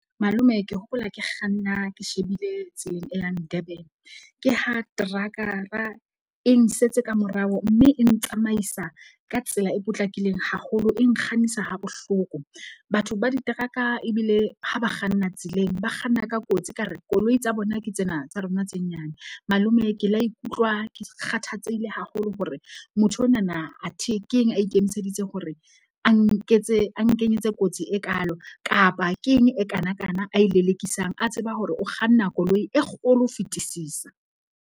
Malome ke hopola ke kganna ke shebile e yang Durban ke ha trackara e nsetse ka morao. Mme e ntsamaisa ka tsela e potlakileng haholo, e nkgannisa ha bohloko. Batho ba diteraka ebile ha ba kganna tseleng, ba kganna ka kotsi ka re koloi tsa bona ke tsena tsa rona tse nyane. Malome ke la ikutlwa ke kgathatsehile haholo hore motho onana athe keng a ikemiseditse ho re a nketse a nkenyetse kotsi e kaalo. Kapa keng e kanakana a e lelekisang, a tseba hore o kganna koloi e kgolo ho fetisisa.